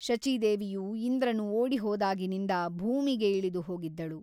ಶಚೀದೇವಿಯು ಇಂದ್ರನು ಓಡಿಹೋದಾಗಿನಿಂದ ಭೂಮಿಗೆ ಇಳಿದು ಹೋಗಿದ್ದಳು.